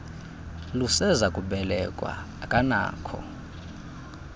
luseza kubelekwa akanakho